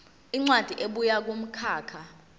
incwadi ebuya kumkhakha